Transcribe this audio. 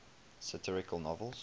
satirical novels